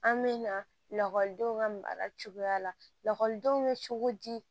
An bɛ na lakɔlidenw ka baara cogoya la lakɔlidenw bɛ cogo di